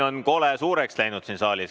Sumin siin saalis on kole suureks läinud.